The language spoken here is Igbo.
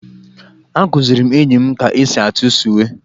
Akụziri m enyi m ka esi atụ sụwé